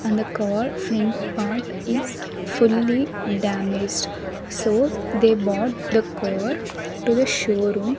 and the car front part is fully damaged so they bought the core to the showroom.